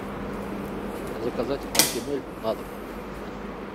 заказать актимель на дом